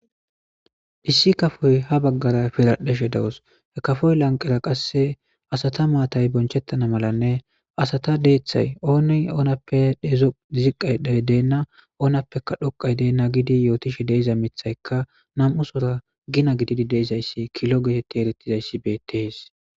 Issi kafoy ha baggara piradheshe dawus. He kafoy lanqera qasse asata maatay bonchettana malanne asata deeththay ooni oonappe ziqqay deenna oonappeka dhoqay deenna gidi yootishe deeza mithaykka nam7usora gina gididi deezayssi kilo geeteti eritizayssi beetees.